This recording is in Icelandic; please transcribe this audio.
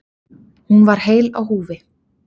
Hún var heil á húfi.